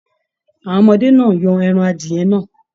Àwọn ọmọdé náà yan ẹran adiyẹ́ náà.